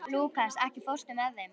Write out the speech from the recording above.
Lúkas, ekki fórstu með þeim?